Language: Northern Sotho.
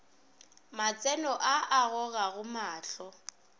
matseno a a gogago mahlo